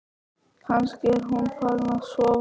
Kannski er hún farin að sofa.